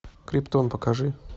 криптон покажи